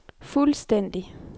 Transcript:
fuldstændig